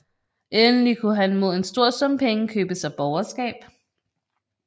Endelig kunne han mod en stor sum penge købe sig borgerskab